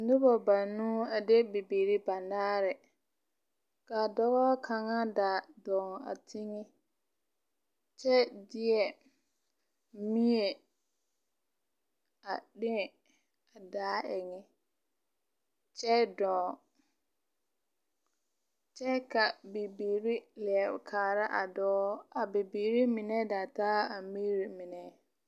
Noba banuu a de bibiiri banaare, ka dɔbɔ kaŋa da dɔɔŋ a teŋe kyɛ mie a leŋe a daa eŋɛ, kyɛ dɔɔ kyɛ ka bibiiri leɛ kaara a dɔɔ, a bibiiri mine da taa a miri mine. 13429